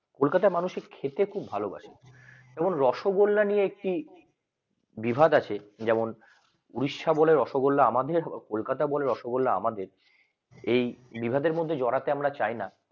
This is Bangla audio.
কলকাতা মানুষের খেতে খুব ভালোবাসেএবং রসগোল্লা নিয়ে একটি জিহাদ আছে যেমন উড়িষ্যা বলে রসগোল্লা, আমাদেরও ভালো কলকাতা বলে রসগোল্লা আমাদের এই চেয়ারের মধ্যে যাওয়াতে আমরা চাই না